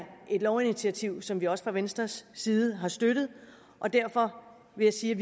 et lovinitiativ som vi også fra venstres side har støttet og derfor vil jeg sige